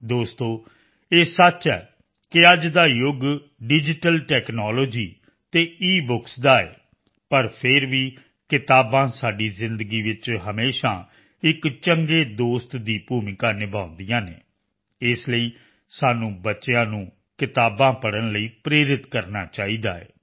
ਦੋਸਤੋ ਇਹ ਸੱਚ ਹੈ ਕਿ ਅੱਜ ਦਾ ਯੁੱਗ ਡਿਜੀਟਲ ਟੈਕਨਾਲੋਜੀ ਅਤੇ ਈਬੁੱਕਸ ਦਾ ਹੈ ਪਰ ਫਿਰ ਵੀ ਕਿਤਾਬਾਂ ਸਾਡੀ ਜ਼ਿੰਦਗੀ ਵਿੱਚ ਹਮੇਸ਼ਾ ਇੱਕ ਚੰਗੇ ਦੋਸਤ ਦੀ ਭੂਮਿਕਾ ਨਿਭਾਉਂਦੀਆਂ ਹਨ ਇਸ ਲਈ ਸਾਨੂੰ ਬੱਚਿਆਂ ਨੂੰ ਕਿਤਾਬਾਂ ਪੜ੍ਹਨ ਲਈ ਪ੍ਰੇਰਿਤ ਕਰਨਾ ਚਾਹੀਦਾ ਹੈ